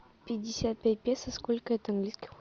пятьдесят пять песо сколько это английских